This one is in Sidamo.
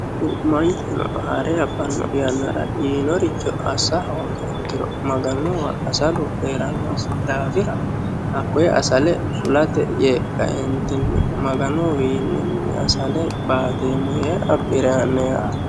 manchuno haare abbanno yannara yiinoricho assa hoogiha ikkiro maganunnihu asalu heerannosi daafira hakoyee asale fulate yee jaeentinni maganuwiinninni asale baatureemmo yee abbire aanno yaate